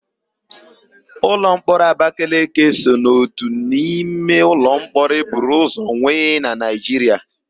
Ụlọmkpọrọ Abakeleke so n'ótù n'ime ụlọmkpọrọ e buru ụzọ nwe na Naịjiria.